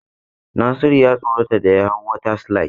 Nasiru ya tsorata da ya hau water slide.